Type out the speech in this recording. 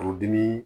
Furudimi